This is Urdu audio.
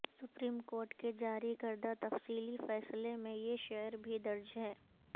سپریم کورٹ کے جاری کردہ تفصیلی فیصلے میں یہ شعر بھی درج ہے